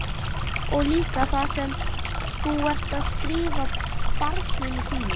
Og líka það sem þú ert að skrifa barninu þínu?